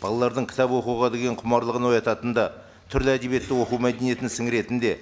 балалардың кітап оқуға деген құмарлығын оятатын да түрлі әдебиетті оқу мәдениетін сіңіретін де